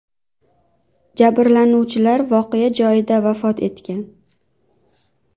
Jabrlanuvchilar voqea joyida vafot etgan .